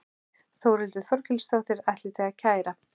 Þórhildur Þorkelsdóttir: Ætlið þið að kæra?